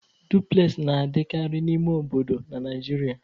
Dupulesị na-adịkarị n'ime obodo na Naịjirịa.